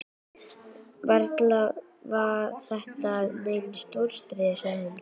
Varla er þetta nein stóriðja? sagði hún.